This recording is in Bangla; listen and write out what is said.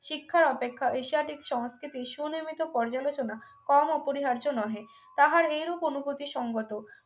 শিক্ষা অপেক্ষায় এশিয়াটিক সংস্কৃতি সুনির্মিত পর্যালোচনা কম অপরিহার্য নহে তাহার এইরূপ অনুপতি সঙ্গত